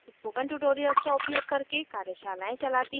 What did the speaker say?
spoken tutorials का उपयोग करके कार्यशालाएं चलती है